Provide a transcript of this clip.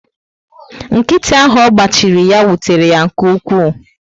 Nkịtị áhù ọgba chiri ya, wutere yá nke ukwu